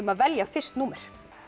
að velja fyrst númer